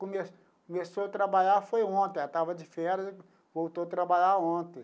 Come começou a trabalhar foi ontem, ela estava de férias, voltou a trabalhar ontem.